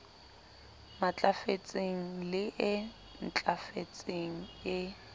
matlafetseng le e ntlafetseng e